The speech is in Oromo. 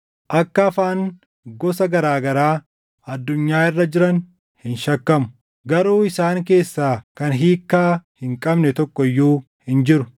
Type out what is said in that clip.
Akka afaan gosa garaa garaa addunyaa irra jiran hin shakkamu. Garuu isaan keessaa kan hiikkaa hin qabne tokko iyyuu hin jiru.